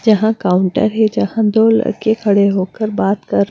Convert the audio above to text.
जहां काउंटर है जहां दो लड़के खड़े होकर बात कर--